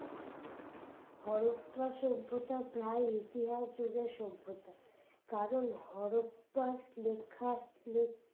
হরপ্পা সভ্যতা প্রায় ইতিহাস যুগের সভ্যতা কারণ হরপ্পার লেখা লেখ